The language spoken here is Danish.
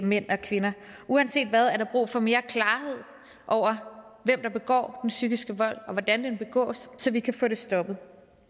mænd og kvinder uanset hvad er der brug for mere klarhed over hvem der begår den psykiske vold og hvordan den begås så vi kan få det stoppet